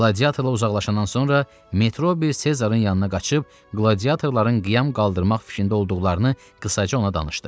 Qladiatorla uzaqlaşandan sonra Metrobi Sezarın yanına qaçıb qladiatorların qiyam qaldırmaq fikrində olduqlarını qısaca ona danışdı.